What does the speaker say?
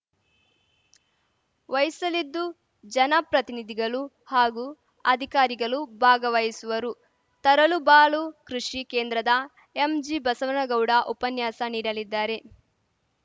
ವಹಿಸಲಿದ್ದು ಜನಪ್ರತಿನಿಧಿಗಲು ಹಾಗೂ ಅಧಿಕಾರಿಗಲು ಭಾಗವಹಿಸುವರು ತರಳುಬಾಳು ಕೃಷಿ ಕೇಂದ್ರದ ಎಂಜಿಬಸವನಗೌಡ ಉಪನ್ಯಾಸ ನೀಡಲಿದ್ದಾರೆ